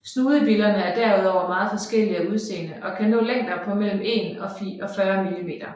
Snudebillerne er derudover meget forskellige af udseende og kan nå længder på mellem 1 og 40 mm